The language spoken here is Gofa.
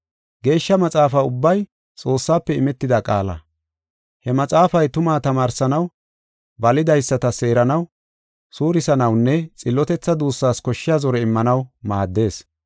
Geeshsha Maxaafaa ubbay Xoossaafe imetida qaala. He maxaafay tumaa tamaarsanaw, balidaysata seeranaw, suurisanawunne xillotetha duussas koshshiya zore immanaw maaddees.